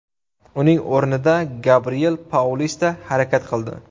Uning o‘rnida Gabriel Paulista harakat qildi.